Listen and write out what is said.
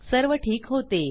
सर्व ठीक होते